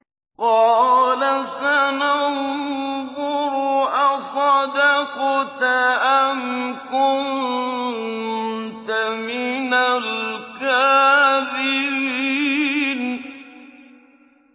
۞ قَالَ سَنَنظُرُ أَصَدَقْتَ أَمْ كُنتَ مِنَ الْكَاذِبِينَ